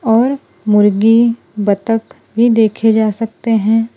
और मुर्गी बत्तख भी देखे जा सकते हैं।